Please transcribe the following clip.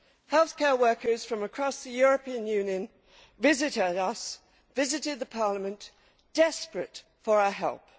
Healthcare workers from across the European Union visited us, visited the Parliament, desperate for our help.